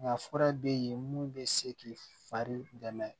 Nka fura bɛ ye mun bɛ se k'i fari dɛmɛ